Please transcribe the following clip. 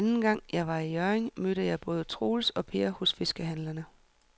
Anden gang jeg var i Hjørring, mødte jeg både Troels og Per hos fiskehandlerne.